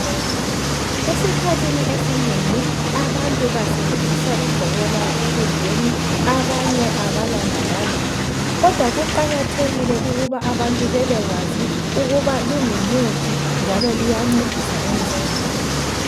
esikhathini esinengi abantu basebenzisa ibhobola ekudleni abanye abalandaba lalo kodwa kuqakathekile ukuba abantu bebekwazi ukuba lingumuthi njalo liyancedisa emzimbeni